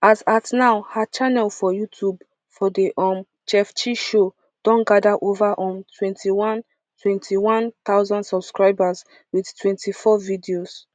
as at now her channel for youtube for the um chef chi show don gada ova um twenty one twenty one thousand subscribers wit twenty-four videos